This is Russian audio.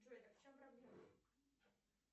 джой так в чем проблема